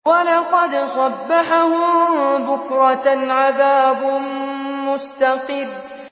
وَلَقَدْ صَبَّحَهُم بُكْرَةً عَذَابٌ مُّسْتَقِرٌّ